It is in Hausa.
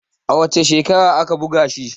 a wace shekara aka buga shi?